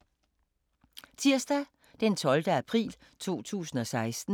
Tirsdag d. 12. april 2016